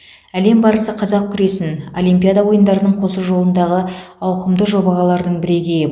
әлем барысы қазақ күресін олимпиада ойындарының қосу жолындағы ауқымды жобағалардың бірегейі